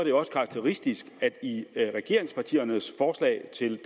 jo også karakteristisk at i regeringspartiernes forslag til